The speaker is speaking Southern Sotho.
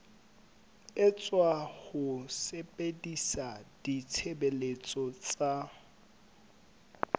etswa ho sebedisa ditshebeletso tsa